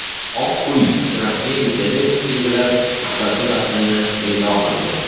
Oq uy Trampning Zelenskiy bilan suhbati matnini e’lon qildi.